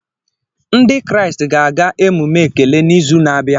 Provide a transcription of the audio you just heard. Ndị Kraịst ga-aga emume Ekele n'izu na-abịa